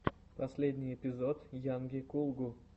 последний эпизод йанги кулгу